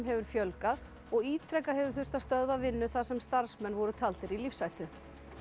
hefur fjölgað og ítrekað hefur þurft að stöðva vinnu þar sem starfsmenn voru taldir í lífshættu